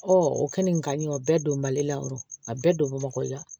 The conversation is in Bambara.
o kɛ nin kan ɲi o bɛɛ don mali la o bɛɛ don bamakɔ yan